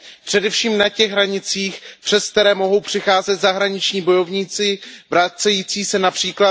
Především na těch hranicích, přes které mohou přicházet zahraniční bojovníci vracející se např.